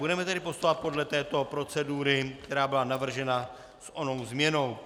Budeme tedy postupovat podle této procedury, která byla navržena s onou změnou.